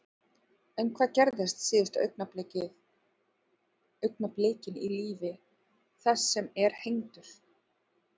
En hvað gerist síðustu augnablikin í lífi þess sem er hengdur?